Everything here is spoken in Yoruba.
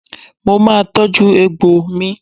Mo máa tọ́jú egbò mi.